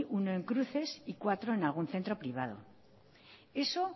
uno en cruces y cuatro en algún centro privado eso